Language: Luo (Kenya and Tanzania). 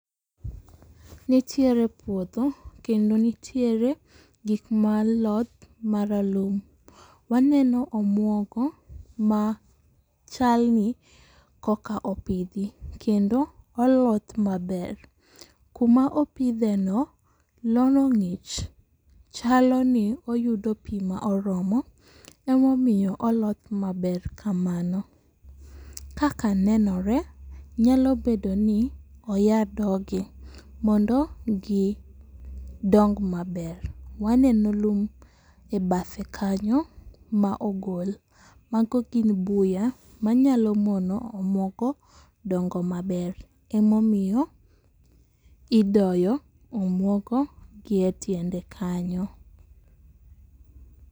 Nitiere puodho kendo nitiere gik ma loth maralum, waneno omuogo machal ni koka opidhi kendo oloth maber. Kuma opidheno lono ng'ich chalo ni oyudo pi ma oromo emomiyo oloth maber kamano. Kaka nenore nyalo bedoni oya dogi mondo gidong maber, waneno lum e bathe kanyo ma ogolmago gin buya manyalo mono omuogo dongo maber. Emomiyo idoyo omuogo gi e tiende kanyo.